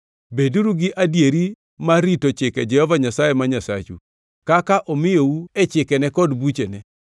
Beduru gi adieri mar rito chike Jehova Nyasaye ma Nyasachu, kaka omiyou e chikene kod buchene.